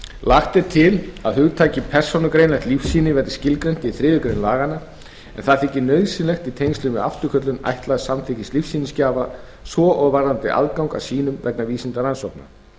lagt er til að hugtakið persónugreinanlegt lífsýni verði skilgreint í þriðju grein laganna en það þykir nauðsynlegt í tengslum við afturköllun ætlaðs samþykkis lífsýnisgjafa svo og varðandi aðgang að sýnum vegna vísindarannsókna